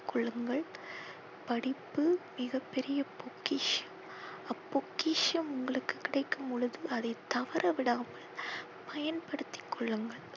கொள்ளுங்கள். படிப்பு மிக பெரிய பொக்கிஷம். அப்பொக்கிஷம் உங்களுக்கு கிடைக்கும் பொழுது அதை தவற விடாமல் பயன் படுத்தி கொள்ளுங்கள்.